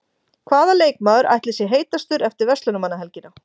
Hvaða leikmaður ætli sé heitastur eftir Verslunarmannahelgina?